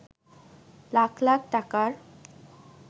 লাখ লাখ টাকার